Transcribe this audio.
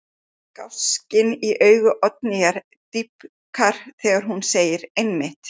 Gáskinn í augum Oddnýjar dýpkar þegar hún segir: Einmitt.